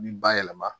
Bi bayɛlɛma